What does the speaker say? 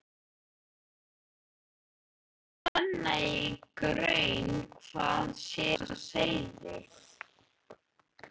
Og fer að renna í grun hvað sé á seyði.